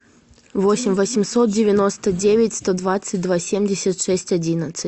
восемь восемьсот девяносто девять сто двадцать два семьдесят шесть одиннадцать